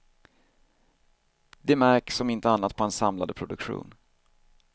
Det märks om inte annat på hans samlade produktion.